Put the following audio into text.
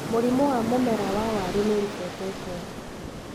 Mũrimũ wa mũmera wa waru nĩũribotetwo.